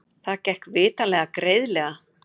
Það gekk vitanlega greiðlega.